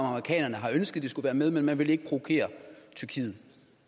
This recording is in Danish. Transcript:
amerikanerne har ønsket at de skulle være med men man vil ikke provokere tyrkiet